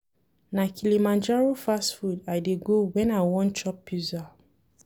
Na Kilimanjaro fast food I dey go wen I wan chop Pizza.